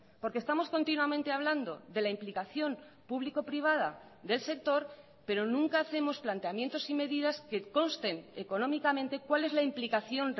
porque estamos continuamente hablando de la implicación público privada del sector pero nunca hacemos planteamientos y medidas que consten económicamente cuál es la implicación